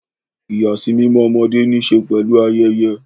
Ìyàsímímọ́ ọmọdé ní í ṣe pẹ̀lú ayẹyẹ.